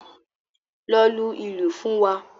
Lọ lu ìlù fún wa.